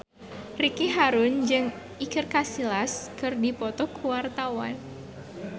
Ricky Harun jeung Iker Casillas keur dipoto ku wartawan